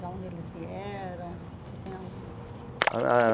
Da onde eles vieram? O senhor tem algum...ah